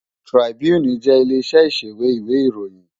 Trìbúní jè ilé iṣè iṣéwé iwé iróyìn